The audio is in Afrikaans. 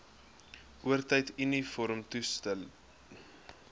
oortyd uniformtoelae vervoer